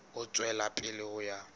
ho tswela pele ho ya